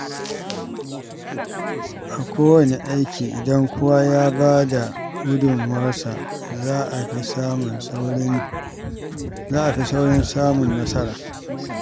A kowanne aiki, idan kowa ya ba da gudunmawarsa, za a fi saurin samun nasara.